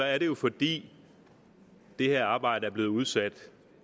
er det jo fordi det her arbejde er blevet udsat